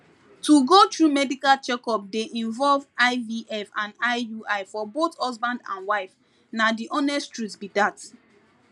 to go through medical checkup dey involve ivf and iui for both husband and wife na the honest truth be that